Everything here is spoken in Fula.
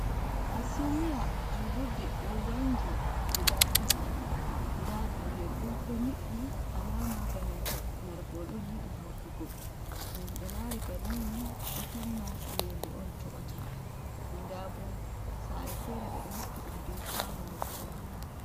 Ha sumiya julirde ɗo wanngi guda ɗiɗi, nda dule bo ɗo nyiɓbi alama bananta nargewol yiɗi hawtugo toɓa, to himɓe lari banni ni ɗo tamma iyeende on toɓata nda bo sare fere ɓeɗo hippi ɗum be kuwano mil kolo.